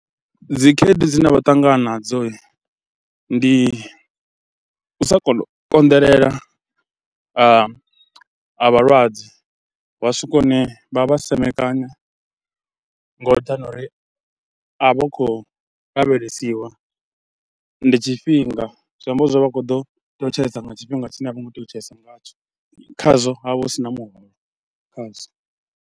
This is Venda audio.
Dzi khaedu dzine vha ṱangana nadzo ndi u sa kona u konḓelela ha vhalwadze wa swika hune vha vha semekanya nga nṱhani ha uri a vha khou lavhelesiwa. Ndi tshifhinga zwi amba zwo ri vha a khou ḓo tea u tshaisa nga tshifhinga tshine a vho ngo tea u tshaisa ngatsho, khazwo ha vha hu si na khazwo.